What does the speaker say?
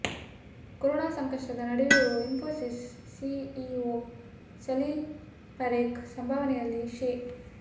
corona ಸಂಕಷ್ಟದ ನಡುವೆಯೂ Infosys CEO Salil Parekh ಸಂಭಾವನೆಯಲ್ಲಿ ಶೇ